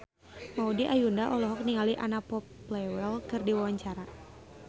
Maudy Ayunda olohok ningali Anna Popplewell keur diwawancara